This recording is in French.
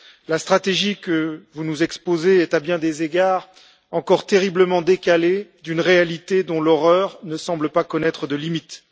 La stratégie que vous nous exposez est à bien des égards encore terriblement décalée par rapport à une réalité dont l'horreur ne semble pas connaître de limites.